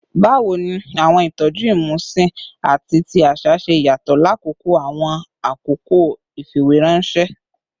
Bawo ni awọn itọju imusin ati ti aṣa ṣe yatọ lakoko awọn akoko ifiweranṣẹ?